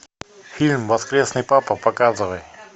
фильм воскресный папа показывай